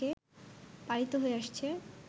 পালিত হয়ে আসছে